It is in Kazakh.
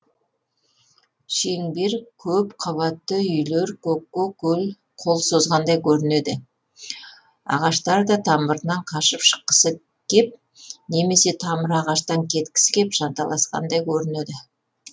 шеңбер көп қабатты үйлер көкке қол созғандай көрінеді ағаштар да тамырынан қашып шыққысы кеп немесе тамыры ағаштан кеткісі кеп жанталасқандай көрінеді